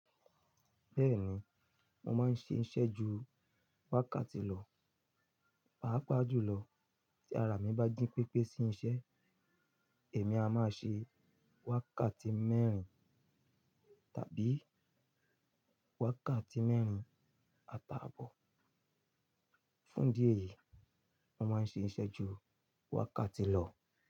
Bẹ́ẹ̀ni, mo máa ń ṣe ìṣẹ́ ju wákàtí lọ. Pàápàá jùlọ tí ara mi bá jí pépé sí iṣẹ́, èmi a máa ṣe wákàtí mẹ́rin tàbí wákàtí mẹ́rin ata àbọ̀. Fún idí e yìí, mo máa ń ṣe ìṣẹ́ ju wákàtí lọ.